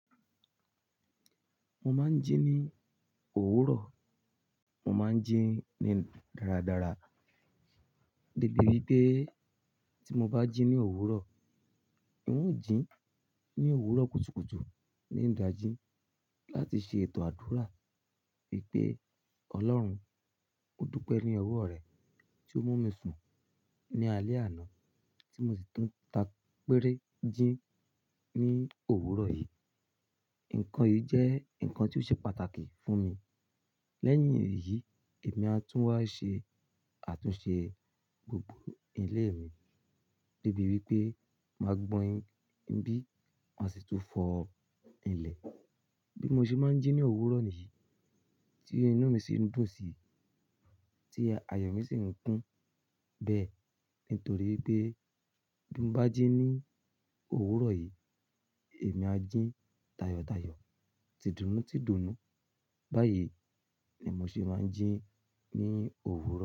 Mo máa ń jí ní òwúrọ̀, mo máa ń jí ní dáradára. Debi ripe tí mo bá jí ní òwúrọ̀, ń ò jín ní òwúrọ̀ kùtùkùtù ní dàjí láti ṣe ètò àdúrà wípé, Ọlọ́run, mo dúpẹ́ ní ọwọ́ rẹ tí o mú mi sùn ní alé àná tí mo sì tún ta péré jín ní òwúrọ̀ yìí. Ǹkan yìí jẹ́ ǹkan tí ó ṣe pàtàkì fún mi. Lẹ́yìn èyí, èmi a tún wá ṣe àtúnṣe gbogbo ilé mi débi wípé máa gbọn ibí maa ṣe tún fọ ilẹ̀. Bí mo ṣe máa ń jí ní òwúrọ̀ nìyí, ti inú mi sì ń dun si, ti ayọ̀ mi sì ń kún bẹ́ẹ̀ nítorí pé bí mo bá jí ní òwúrọ̀ yìí, èmi á jo tayọ̀tayọ̀, tìdùnnú tìdùnnú. Báyìí ni mo ṣe máa ń jí ní òwúrọ̀